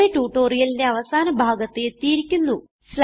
ഇതോടെ ട്യൂട്ടോറിയലിന്റെ അവസാന ഭാഗത്ത് എത്തിയിരിക്കുന്നു